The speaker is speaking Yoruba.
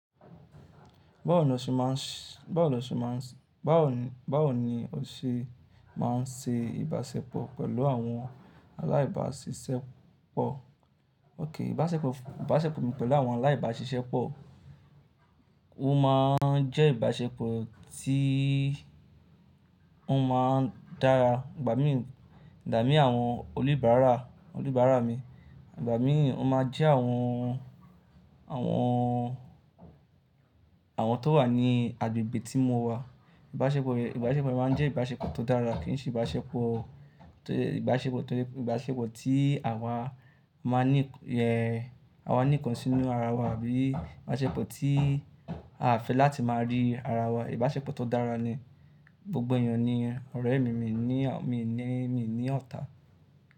Báwo ni o ṣe máa ń ṣe ìbáṣepọ̀ pẹ̀lú àwọn alábáṣiṣẹ́pọ̀? Ók, ìbáṣepọ̀, ìbáṣepọ̀ mi pẹ̀lú àwọn alábáṣiṣẹ́pọ̀, ó má ń jẹ́ ìbáṣepọ̀ tí ó má ń dára. Ìgbà mí, dàá mí àwọn olúbárà, olúbárà mi. Ìgbà mí ó má ń jẹ́ àwọn, àwọn, àwọn tó wà ní agbègbè tí mo wà. Ìbáṣepọ̀, ìbáṣepọ̀ mi má ń jẹ́ ìbáṣepọ̀ tó dára kì í ṣe ìbáṣepọ̀, ìbáṣepọ̀, ìbáṣepọ̀ tí àwa máa ń ní, ẹ, àwa máa ń ní nkàn ṣìnú ara wa bí i ìbáṣepọ̀ tí a fẹ́ láti máa rí ara wa. Ìbáṣepọ̀ tó dára ni gbogbo èèyàn ni ọ̀rẹ́ mi, mi ní, mi ní, mi ní ọ̀tá.